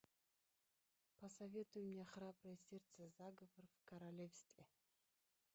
посоветуй мне храброе сердце заговор в королевстве